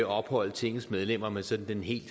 opholde tingets medlemmer med sådan den helt